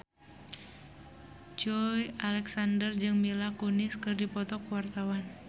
Joey Alexander jeung Mila Kunis keur dipoto ku wartawan